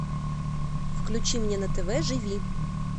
включи мне на тв живи